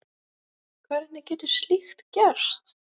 Hvernig getur slíkt gerst?